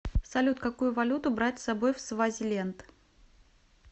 салют какую валюту брать с собой в свазиленд